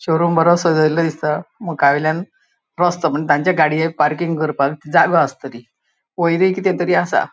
शोरूम बरो सेजेल्ल्लो दिसता मुकावयल्यान रस्तो मून तांचा गाड़िएक पार्किंग कर्पाक जागो आस्तलि वयरी किते तरी असा.